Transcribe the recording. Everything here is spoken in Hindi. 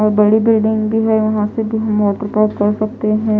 और बड़े बड़े कर सकते है।